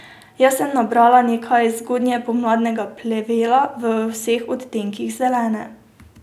Jaz sem nabrala nekaj zgodnjepomladnega plevela v vseh odtenkih zelene.